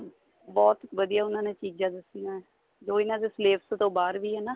ਬਹੁਤ ਵਧੀਆ ਉਹਨਾ ਨੇ ਚੀਜ਼ਾਂ ਦਸੀਆਂ ਜੋ ਇਹਨਾ ਦੇ ਸਲੇਬਸ ਤੋਂ ਬਾਹਰ ਵੀ ਏ ਨਾ